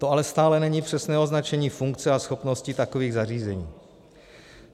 To ale stále není přesné označení funkce a schopnosti takových zařízení.